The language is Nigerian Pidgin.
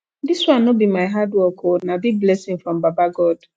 dis one no be my hard work o na big blessing from baba god